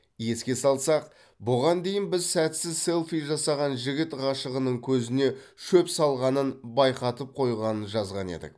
еске салсақ бұған дейін біз сәтсіз селфи жасаған жігіт ғашығының көзіне шөп салғанын байқатып қойғанын жазған едік